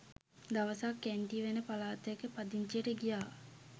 දවසක් ඇන්ටි වෙන පලාතකට පදිංචියට ගියා.